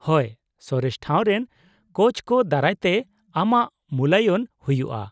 ᱼᱦᱳᱭ, ᱥᱚᱨᱮᱥ ᱴᱷᱟᱣ ᱨᱮᱱ ᱠᱳᱪᱠᱚ ᱫᱟᱨᱟᱭ ᱛᱮ ᱟᱢᱟᱜ ᱢᱩᱞᱟᱭᱚᱱ ᱦᱩᱭᱩᱜᱼᱟ ᱾